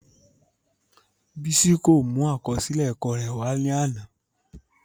Bisi ko mu akọsilẹ ẹkọ rẹ wa lana.